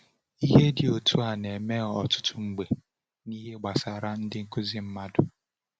Ihe dị otu a na-eme ọtụtụ mgbe n’ihe gbasara ndị nkuzi mmadụ.